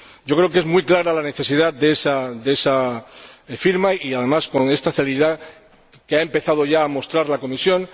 Creo que es muy clara la necesidad de esa firma, y además con esta celeridad que ha empezado ya a mostrar la Comisión.